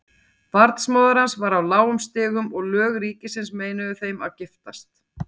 Barnsmóðir hans var af lágum stigum og lög ríkisins meinuðu þeim að giftast.